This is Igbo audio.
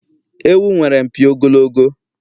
Ewu nwere mpi ogologo